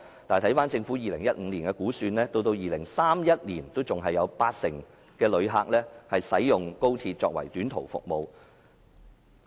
但是，根據政府2015年的估算，到2031年仍有八成旅客使用高鐵作為短途服務。